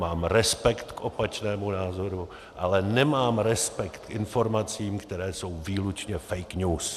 Mám respekt k opačnému názoru, ale nemám respekt k informacím, které jsou výlučně fake news!